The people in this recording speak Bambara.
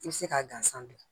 I bɛ se k'a gansan dilan